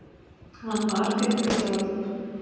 Hann var fimmtugur að aldri